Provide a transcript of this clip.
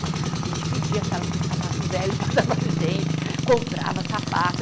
A gente pedia se elas tinham sapato velho para dar para a gente, comprava sapato.